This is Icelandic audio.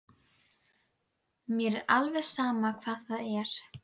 Mér er alveg sama hvað það er.